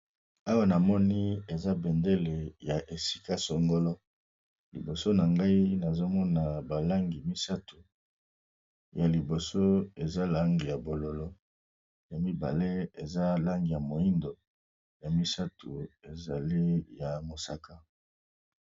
Awa na moni eza bendele ya esika songolo liboso na ngai nazo mona ba langi misato ya liboso eza langi ya bololo, ya mibale eza langi ya moyindo, ya misato ezali ya mosaka.